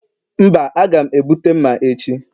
Mba, a ga m ebute mma echi